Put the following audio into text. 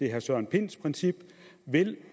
herre søren pinds princip vil